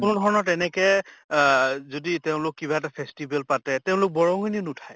কোনো ধৰণৰ তেনেকে অহ যদি তেওঁলোক কিবা এটা festival পাতে তেওঁলোক বৰংনি নুঠায়